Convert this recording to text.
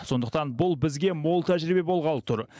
сондықтан бұл бізге мол тәжірибе болғалы тұр